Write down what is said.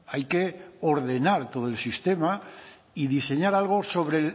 hay que ordenar todo el sistema y diseñar algo sobre